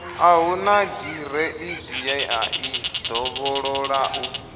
a hu nagireidi yeai dovhololau